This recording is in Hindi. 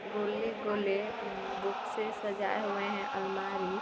गोले गोले बुक से सजाये हुये हैं अलमारी।